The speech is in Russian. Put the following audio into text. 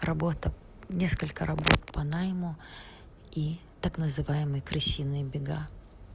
работа несколько работ по найму и так называемые крысиные бега